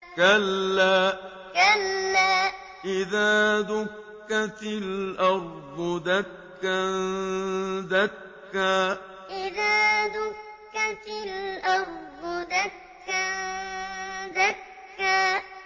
كَلَّا إِذَا دُكَّتِ الْأَرْضُ دَكًّا دَكًّا كَلَّا إِذَا دُكَّتِ الْأَرْضُ دَكًّا دَكًّا